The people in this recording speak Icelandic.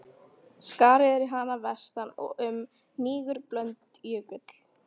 Skarð er í hana að vestan, og um það hnígur Blöndujökull.